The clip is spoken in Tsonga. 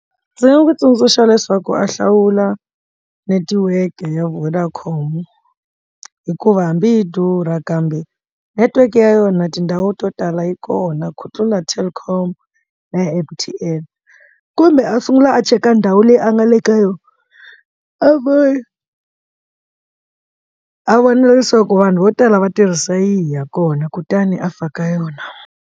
Ndzi nga n'wi tsundzuxa leswaku a hlawula netiweke ya Vodacom hikuva hambi yi durha kambe network ya yona tindhawu to tala yi kona ku tlula telkom na M_T_N kumbe a sungula a cheka ndhawu leyi a nga le ka yona a vo a vona leswaku vanhu vo tala va tirhisa yihi ya kona kutani a faka yona.